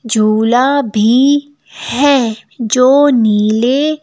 झूला भी है जो नीले --